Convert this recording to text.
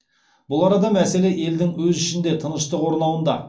бұл арада мәселе елдің өз ішінде тыныштық орнауында